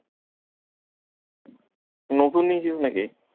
নতুন নিয়েছিস নাকি?